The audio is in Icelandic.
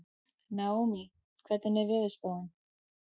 Naómí, hvernig er veðurspáin?